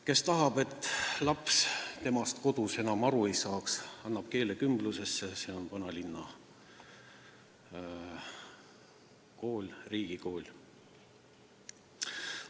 Kes tahab, et laps temast kodus enam aru ei saaks, paneb lapse keelekümblusesse, see toimub vanalinna riigikoolis.